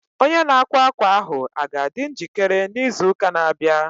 Onye na-akwa akwa ahụ a ga-adị njikere n' izuuka na-abịa?